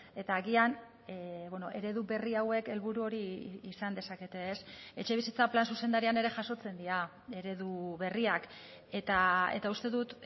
eta agian eredu berri hauek helburu hori izan dezakete etxebizitza plan zuzendarian ere jasotzen dira eredu berriak eta uste dut